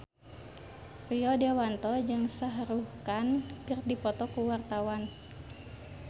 Rio Dewanto jeung Shah Rukh Khan keur dipoto ku wartawan